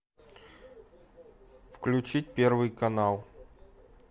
включить первый канал